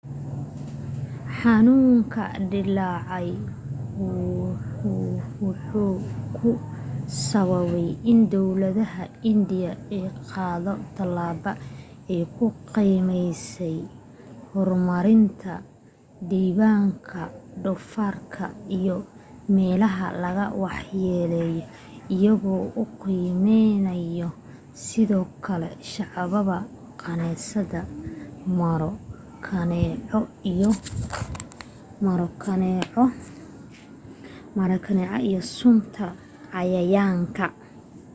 xanuunka dilaacay wuxuu ku sababay in dawladda indian ay qaado talabo ay ku qiyaaseyso horamarinta dabinka dofaarka iyo meelaha laga wax yeleyey iyago u qeybinaya sidoo kale shabaga kaneecada/maro kaneeco iyo suntan cayayaanka